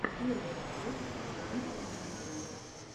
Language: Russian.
первая часть данкмемера